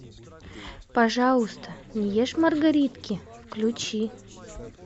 пожалуйста не ешь маргаритки включи